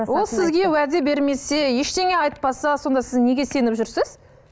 ол сізге уәде бермесе ештеңе айтпаса сонда сіз неге сеніп жүрсіз